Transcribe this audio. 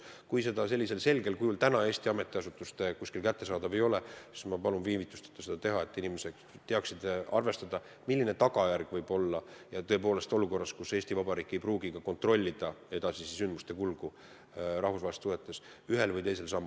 Kui see info selgel kujul praegu ametiasutustes kättesaadav ei ole, siis ma palun viivitusteta seda teha, et inimesed teaksid arvestada, milline on tagajärg olukorras, kus Eesti Vabariik ei pruugi saada edasiste sündmuste kulgu rahvusvahelistes suhetes kontrollida.